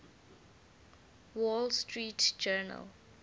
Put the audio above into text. wall street journal